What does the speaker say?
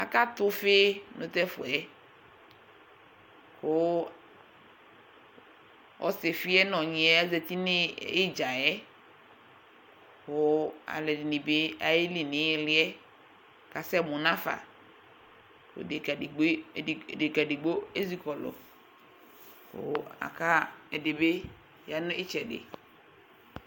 Akatɛ ʋfi nʋ tɛfʋɛ kʋ ɔsifiɛ nʋ ɔyniɛ azɛti n'idzayɛ kʋ aalʋɛɖini bi alyeli n'iliyɛ k'asɛmʋ n'afaEɖeka eɖigboe eziʋkɔlʋ kʋ ɛɖibi ya nʋ itsɛɖi